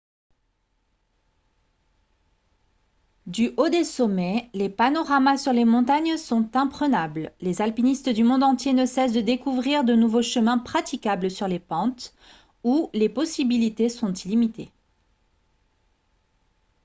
du haut des sommets les panoramas sur les montagnes sont imprenables les alpinistes du monde entier ne cessent de découvrir de nouveaux chemins praticables sur les pentes où les possibilités sont illimitées